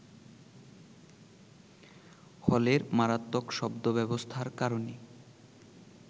হলের মারাত্মক শব্দব্যবস্থার কারণে